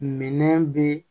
Minɛn bɛ